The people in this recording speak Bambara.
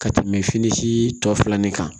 Ka tɛmɛ fini si tɔ filanan kan